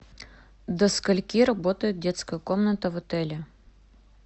до скольки работает детская комната в отеле